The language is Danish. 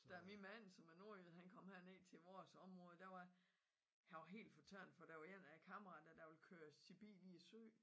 Da min mand som er nordjyde han kom her ned til vores område der var han var helt fortørnet for der var en af kammaraterne der ville køre sin bil i syn